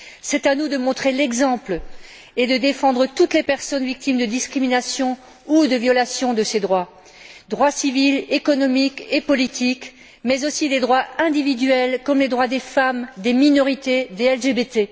C'est à nous de montrer l'exemple et de défendre toutes les personnes victimes de discriminations ou de violations de ces droits droits civils, économiques et politiques mais aussi des droits individuels comme les droits des femmes, des minorités et des LGBT.